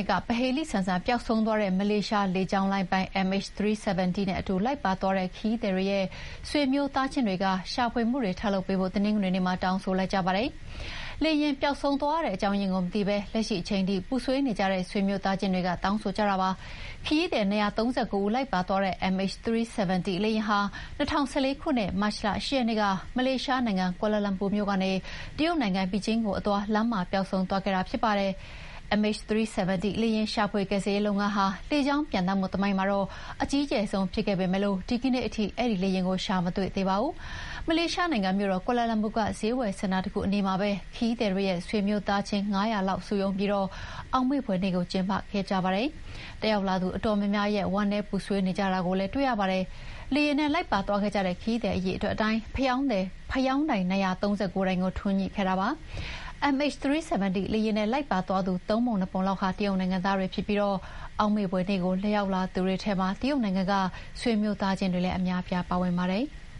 စ်က ပဟေဠိဆန်ဆန်ပျောက်ဆုံးသွားတဲ့ မလေးရှားလေကြောင်းလိုင်းပိုင် MH370 နဲ့အတူလိုက်ပါသွားတဲ့ ခရီးသည်တွေရဲ့ ဆွေမျိုးသားချင်းတွေက ရှာဖွေမှုတွေထပ်လုပ်ပေးဖို့ တနင်္ဂနွေနေ့မှာ တောင်းဆိုလိုက်ကြပါတယ်။ လေယာဥ်ပျောက်ဆုံးသွားရတဲ့အကြောင်းရင်းကိုမသိရဘဲ လက်ရှိအချိန်ထိ ပူဆွေးနေကြတဲ့ ဆွေမျိုးသားချင်းတွေက တောင်းဆိုကြတာပါ။ ခရီးသည် ၂၃၉ ဦးလိုက်ပါသွားတဲ့ MH370 လေယာဥ်ဟာ ၂၀၁၄ ခုနှစ်၊ မတ်လ ၈ ရက်နေ့က မလေးရှားနိုင်ငံ၊ ကွာလာလာမ်ပူမြို့ကနေ တရုတ်နိုင်ငံ၊ ဘေဂျင်းမြို့ကိုအသွား လမ်းမှာတင် ပျောက်ဆုံးသွားခဲ့တာဖြစ်ပါတယ်။ MH370 လေယာဥ် ရှာဖွေကယ်ဆယ်ရေးလုပ်ငန်းဟာ လေကြောင်းပျံသန်းမှုသမိုင်းမှာ အကြီးကျယ်ဆုံးဖြစ်ခဲ့ပေမယ့် ဒီကနေ့ထိ ရှာမတွေ့သေးပါဘူး။ မလေးရှားနိုင်ငံမြို့တော် ကွာလာလာမ်ပူက စျေးဝယ်စင်တာတခုအနီးမှာပဲ ခရီးသည်တွေရဲ့ ဆွေမျိုးသားချင်း ၅၀၀ လောက်စုရုံးပြီး အောက်မေ့ဖွယ်နေ့ကို ကျင်းပခဲ့ကြပါတယ်။ တက်ရောက်လာသူအတော်များများဟာ ဝမ်းနည်းပူဆွေးနေကြတာကိုလည်း တွေ့ရပါတယ်။ လေယာဥ်နဲ့လိုက်ပါသွားတဲ့ခရီးသည် အရေအတွက်အတိုင်း ဖယောင်းတိုင် ၂၃၉ တိုင်ကို ထွန်းညှိခဲ့ကြပါတယ်။ MH370 လေယာဥ်နဲ့လိုက်ပါသွားသူ ၃ ပုံ ၂ ပုံလောက်ဟာ တရုတ်နိုင်ငံသားတွေဖြစ်ပြီး အောက်မေ့ဖွယ်နေ့ကို ရောက်လာသူတွေထဲမှာ တရုတ်နိုင်ငံက ဆွေမျိုးသားချင်းတွေလည်းပါဝင်ပါတယ်။